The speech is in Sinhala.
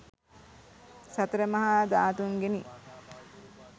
සතර මහා ධාතූන්ගෙනි.